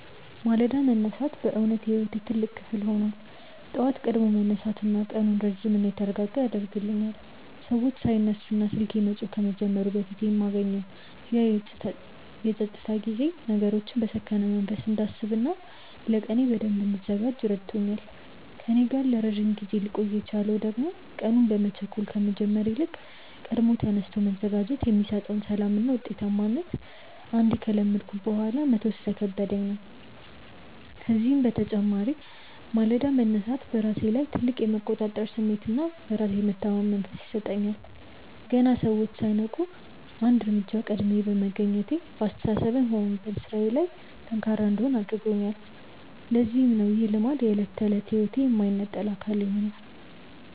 ማለዳ መነሳት በእውነት የሕይወቴ ትልቅ ክፍል ሆኗል። ጠዋት ቀድሞ መነሳት ቀኑን ረጅምና የተረጋጋ ያደርግልኛል፤ ሰዎች ሳይነሱና ስልኬ መጮህ ከመጀመሩ በፊት የማገኘው ያ የፀጥታ ጊዜ ነገሮችን በሰከነ መንፈስ እንዳስብና ለቀኔ በደንብ እንድዘጋጅ ረድቶኛል። ከእኔ ጋር ለረጅም ጊዜ ሊቆይ የቻለው ደግሞ ቀኑን በመቸኮል ከመጀመር ይልቅ ቀድሞ ተነስቶ መዘጋጀት የሚሰጠውን ሰላምና ውጤታማነት አንዴ ከለመድኩት በኋላ መተው ስለከበደኝ ነው። ከዚህም በተጨማሪ ማለዳ መነሳት በራሴ ላይ ትልቅ የመቆጣጠር ስሜትና በራስ የመተማመን መንፈስ ይሰጠኛል። ገና ሰዎች ሳይነቁ አንድ እርምጃ ቀድሜ መገኘቴ በአስተሳሰቤም ሆነ በሥራዬ ላይ ጠንካራ እንድሆን አድርጎኛል፤ ለዚህም ነው ይህ ልማድ የዕለት ተዕለት ሕይወቴ የማይነጠል አካል የሆነው።